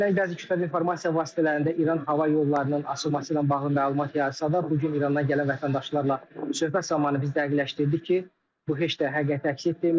Dünən bəzi kütləvi informasiya vasitələrində İran hava yollarının açılması ilə bağlı məlumat yayısa da, bu gün İrandan gələn vətəndaşlarla söhbət zamanı biz dəqiqləşdirdik ki, bu heç də həqiqəti əks etdirmir.